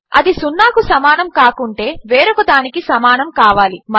అది సున్నాకు సమానము కాకుంటే వేరొక దానికి సమానము కావాలి